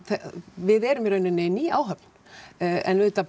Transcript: við erum í rauninni ný áhöfn auðvitað